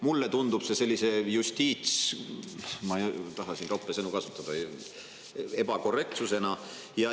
Mulle tundub see sellise justiits… – ma ei taha siin roppe sõnu kasutada – ebakorrektsusena.